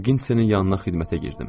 Bokise-nin yanına xidmətə girdim.